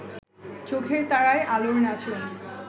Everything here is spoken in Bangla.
চোখের তারায় আলোর নাচন